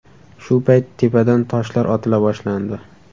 Shu payt tepadan toshlar otila boshlandi.